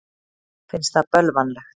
Finnst það bölvanlegt.